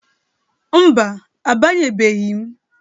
Mba, abanyebeghi m.